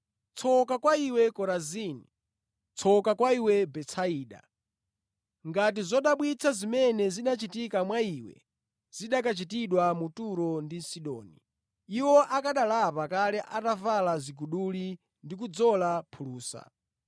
“Tsoka kwa iwe Korazini! Tsoka kwa iwe Betisaida! Ngati zodabwitsa zimene zinachitika mwa iwe zikanachitidwa mu Turo ndi Sidoni, iwo akanalapa kale atavala ziguduli ndi kudzola phulusa.